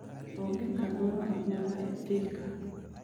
onge kamoro amora e thika